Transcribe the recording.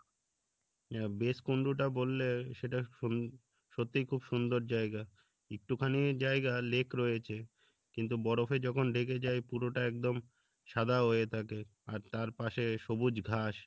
হ্যাঁ বেসকুণ্ড টা বললে সেটা সুন সত্যিই খুব সুন্দর জায়গা একটুখানি জায়গা lake রয়েছে কিন্তু বরফে যখন ঢেকে যাই পুরোটা একদম সাদা হয়ে থাকে আর তার পাশে সবুজ ঘাস